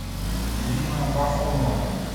ирина агафонова